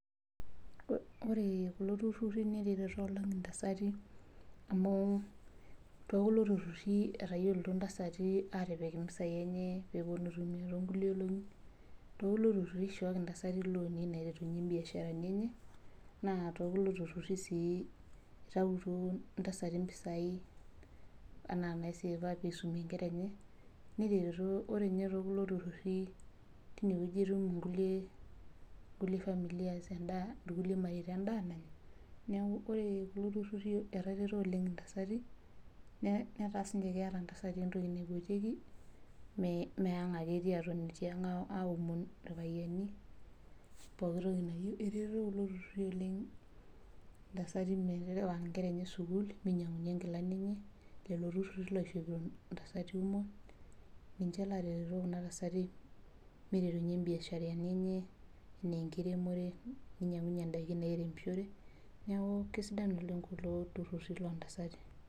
Ore kulo tururi netaretuo oleng entasati amuu too kule tururi etayiolito entasati etayiolito entasati atipika eropiani enye pee epuonu aitumia tee nkulie olongi tee kulo tururi eishoki entasati loonii naiterunye biasharani enye naa tekulo tururi sii etum mpisai enaa naiseva pee esumie enkera enye ore ninye te kule tururi teine etum kulie mareita endaa nanyaa neeku ore kulo tururi netaretuo oleng entasati netaa siniche keeta entasati entoki enye naipotieki mee ang ake etii aomon irpayiani pooki toki nayieu etareto kulo tururi oleng entasati metarewa enkere enye sukuul minyiangaki enkilani etii iltururi ninche loishopito entasati kumok ninche loo retito Kuna tasati miterunye biasharani enye enaa enkiremore nainyiangunye endaiki nairemishore neeku kisidai oleng kulo tururi loo ntasati